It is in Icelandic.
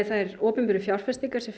þær opinberu fjárfestingar sem